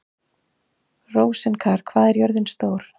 Rósinkar, hvað er jörðin stór?